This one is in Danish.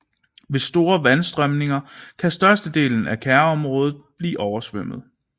Ved store vandafstrømninger kan størstedelen af kærområdet blive oversvømmet